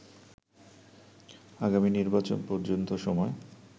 আগামী নির্বাচন পর্যন্ত সময়